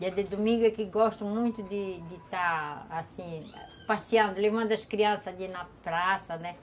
Dia de domingo é que eu gosto muito de de estar, assim, passeando, levando as crianças ali na praça, né?